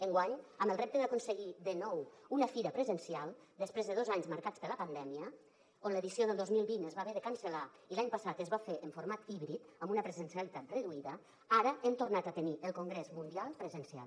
enguany amb el repte d’aconseguir de nou una fira presencial després de dos anys marcats per la pandèmia on l’edició del dos mil vint es va haver de cancel·lar i l’any passat es va fer en format híbrid amb una presencialitat reduïda ara hem tornat a tenir el congrés mundial presencial